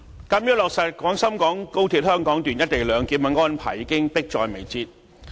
主席，落實廣深港高鐵香港段"一地兩檢"的安排，已經迫在眉睫。